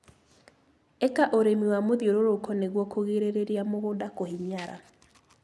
Ika ũrĩmi wa mũthiũruruko nĩguo kũgirĩrĩria mũgunda kũhinyara.